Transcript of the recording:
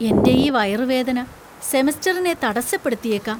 എന്‍റെ ഈ വയറുവേദന സെമസ്റ്ററിനെ തടസ്സപ്പെടുത്തിയേക്കാം!